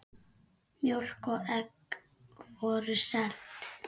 Mjólk og egg voru seld.